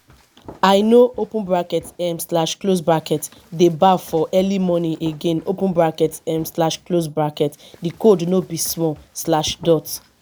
i no um dey baff for early morning again um di cold no be small.